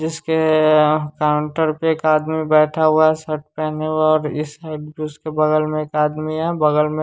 जिसके काउंटर पे एक आदमी बैठा हुआ है शर्ट पहने हुआ और इस साइड उसके बगल में एक आदमी है बगल में।